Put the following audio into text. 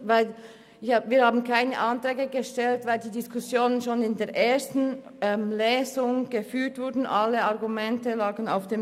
Wir haben keine Anträge gestellt, da die Diskussionen bereits im Rahmen der ersten Lesung geführt wurden, wobei alle Argumente bekannt waren.